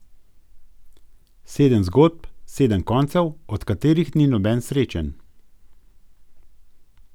Sedem zgodb, sedem koncev, od katerih ni noben srečen.